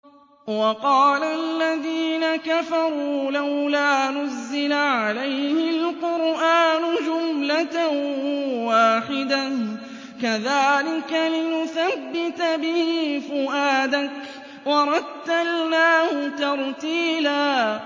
وَقَالَ الَّذِينَ كَفَرُوا لَوْلَا نُزِّلَ عَلَيْهِ الْقُرْآنُ جُمْلَةً وَاحِدَةً ۚ كَذَٰلِكَ لِنُثَبِّتَ بِهِ فُؤَادَكَ ۖ وَرَتَّلْنَاهُ تَرْتِيلًا